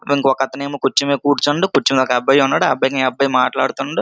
ఇంకోకతను ఏమో కూర్చు మెద కూర్చుండు నించుని ఒక అబ్బాయి ఉన్నాడు ఆ అబ్బాయి కి ఇ అబ్బాయి మాట్లాడుతున్నాడు.